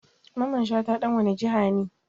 Mamman Shata dan wani jiha ne?